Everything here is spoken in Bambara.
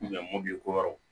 mɔbili ko yɔrɔ